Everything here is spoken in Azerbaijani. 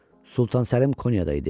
Sultan Səlim Konyada idi.